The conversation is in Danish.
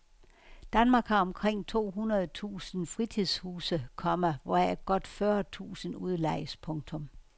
Danmark har omkring to hundrede tusind fritidshuse, komma hvoraf godt fyrre tusind udlejes. punktum